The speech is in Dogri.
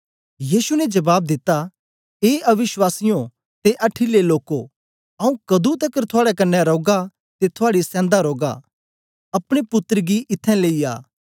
यीशु ने जबाब दिता ए अविश्वासीयें ते अठीले लोको आऊँ कदुं तकर थुआड़े कन्ने रौगा ते थुआड़ी सेन्दा रौगा अपने पुत्तर गी इत्थैं लेई आ